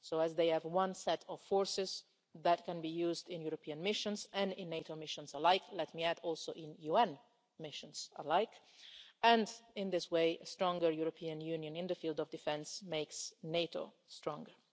They have one set of forces that can be used in European missions and in NATO missions alike and let me also add in UN missions and in this way, a stronger European Union in the field of defence makes NATO stronger.